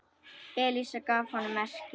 Elísa gaf honum merki.